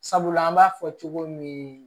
Sabula an b'a fɔ cogo min